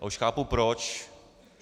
A už chápu proč.